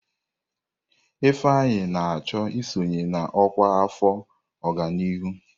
Ifeanyi na-achọ isonye na ọkwa afọ ọganihu.